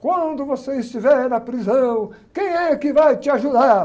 Quando você estiver na prisão, quem é que vai te ajudar?